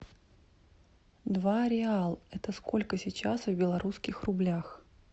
два реал это сколько сейчас в белорусских рублях